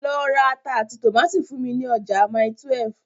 Lọ ra ata àti tòmátì fún mi ní ọjà Mile 12.